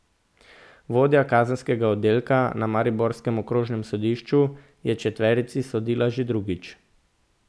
Vodja kazenskega oddelka na mariborskem okrožnem sodišču je četverici sodila že drugič.